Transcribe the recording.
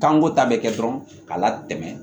Kanko ta bɛ kɛ dɔrɔn ka latɛmɛ